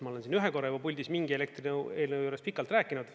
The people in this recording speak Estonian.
Ma olen ühe korra juba puldis mingi elektrieelnõu juures pikalt rääkinud.